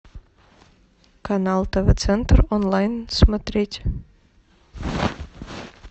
канал тв центр онлайн смотреть